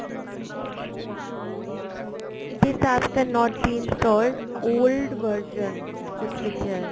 this APP ਇਸ not been installed old version ਕੁੱਝ ਲਿਖਿਆ